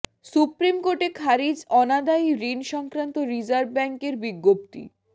supreme কোর্টে খারিজ অনাদায়ি ঋণ সংক্রান্ত রিজার্ভ ব্যাংকের বিজ্ঞপ্তি